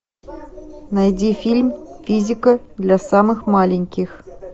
найди фильм физика для самых маленьких